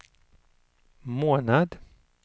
månad